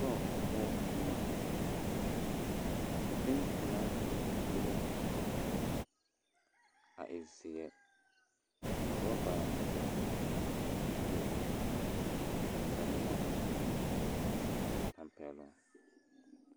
Setɔɔ poɔ boma tintomaastosi be la a setɔɔ poɔ a e zeɛ ka ɔraba meŋ biŋ a e buluu ka samina meŋ biŋ a e tampɛloŋ.